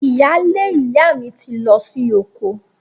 Ìyaalé ìyá mi ti lọ sí oko